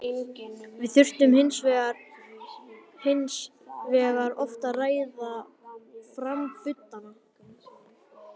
Við þurftum hins vegar oft að reiða fram budduna.